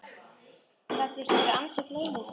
Gat ég ekki verið ansi gleyminn stundum?